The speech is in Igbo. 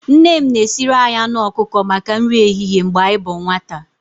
Nne m na-esiri anyị anụ ọkụkọ maka nri ehihie mgbe anyị bụ nwata.